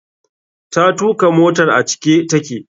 Ta tuka motar a cike take.